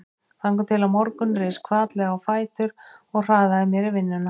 Þangað til á morgun reis hvatlega á fætur og hraðaði mér í vinnuna.